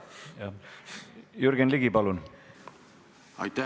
Jürgen Ligi, palun!